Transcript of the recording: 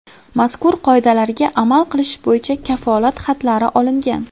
Mazkur qoidalarga amal qilish bo‘yicha kafolat xatlari olingan.